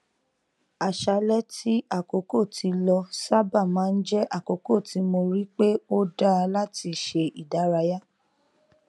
àṣálẹ tí àkókò ti lọ sábà má n jẹ àkókò tí mo rí pe ó dá láti ṣe ìdárayá